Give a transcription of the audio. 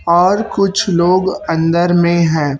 और कुछ लोग अंदर में हैं।